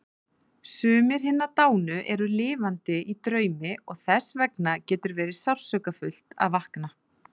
Sumir hinna dánu eru lifandi í draumi og þessvegna getur verið sársaukafullt að vakna.